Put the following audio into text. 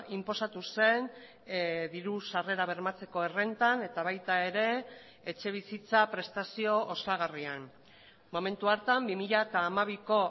inposatu zen diru sarrera bermatzeko errentan eta baita ere etxebizitza prestazio osagarrian momentu hartan bi mila hamabiko